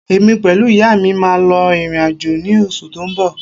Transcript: Èmi pẹ̀lú ìyá mi máa lọ ìrìn-àjò ní oṣù tó ń bọ̀